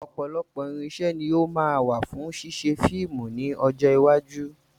Ọ̀pọ̀lọpọ̀ irinṣẹ́ ni ó máa wà fún ṣíṣe fíìmù ní ọjọ́ iwájú.